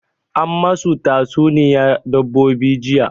An masu ta tsuniya dabbobi jiya